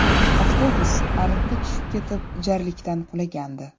Avtobus ariqqa tushib ketib, jarlikdan qulagandi.